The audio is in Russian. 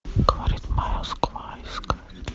говорит москва искать